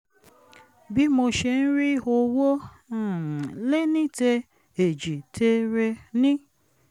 bí mo ṣe ń rí owó um léníte-èjìtere ní